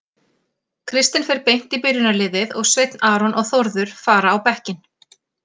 Kristinn fer beint í byrjunarliðið og Sveinn Aron og Þórður fara á bekkinn.